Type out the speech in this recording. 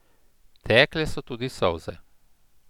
Tekle so tudi solze.